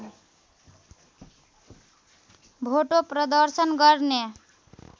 भोटो प्रदर्शन गर्ने